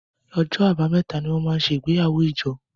OỌjọ́ Àbàmẹ́ta ní wón món ṣe igbeyawo ijo